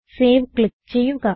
save click ചെയ്യുക